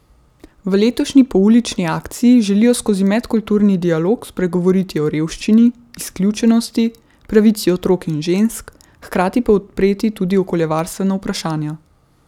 V letošnji poulični akciji želijo skozi medkulturni dialog spregovoriti o revščini, izključenosti, pravici otrok in žensk, hkrati pa odpreti tudi okoljevarstvena vprašanja.